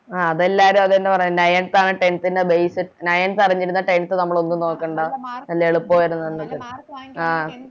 ആ അതെല്ലാരും അതെന്നെ പറയലിണ്ടായെ Ninth ആണ് Tenth ൻറെ Base ninteth അറിഞ്ഞിരുന്ന Tenth നമ്മളൊന്നും നോക്കണ്ട നല്ല എളുപ്പവരുന്നെന്നൊക്കെ ആഹ്